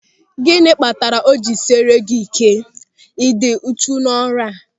Gịnị kpatara o ji esiri gị ị́ké ịdị uchu n'ọrụ a?